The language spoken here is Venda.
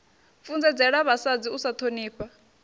funzedzela vhasadzi u sa ṱhonifha